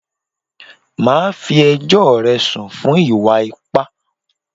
Màá fí ẹjọ́ rẹ̀ sùn fún ìwà ipá!